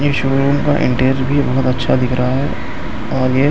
इसमें इंटेयर भी बहुत अच्छा दिख रहा है आगे--